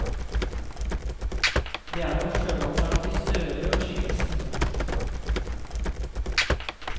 Det er noe sjømannsaktig stødig over skikkelsen.